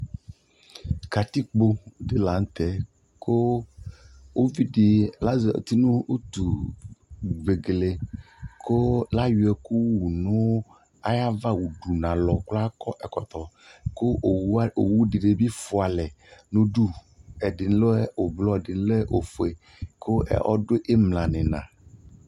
katikpɔ di lantɛ kʋ ʋvidi azati nʋ ʋtʋ vɛgɛlɛ kʋ ayɔ ɛkʋ wʋnʋ ayava ʋdʋ nʋ alɔkʋ akɔ ɛkɔtɔ kʋ ɔwʋ dinibi ƒʋa alɛ nʋ ʋdʋ, ɛdini lɛ ɔblɔ ɛdini lɛ ɔƒʋɛ kʋ ɔdʋ imla nʋ ina